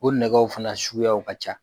O nɛgɛw fana suguya ka ca